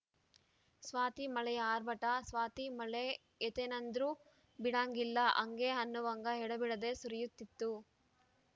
ಸ್ವಾತಿ ಮಳೆಯ ಆರ್ಭಟ ಸ್ವಾತಿ ಮಳೆ ಹೇತೇನಂದ್ರೂ ಬಿಡಾಂಗಿಲ್ಲ ಹಂಗೆ ಅನ್ನುವಂಗ ಎಡೆಬಿಡದೆ ಸುರಿಯುತ್ತಿತ್ತು